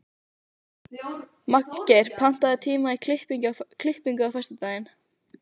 Magngeir, pantaðu tíma í klippingu á föstudaginn.